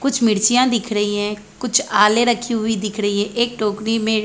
कुछ मिर्चिया दिख रही है कुछ आले रखे हुए दिख रही है एक टोकरी में--